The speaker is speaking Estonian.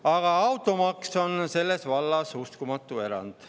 Aga automaks on selles vallas uskumatu erand.